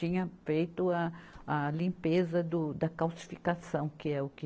Tinha feito a, a limpeza do da calcificação, que é o que